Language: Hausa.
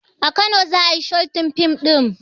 A kano za ayi shooting fim ɗin